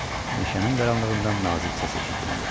Meşənin qaranlığından nazik səs eşidildi.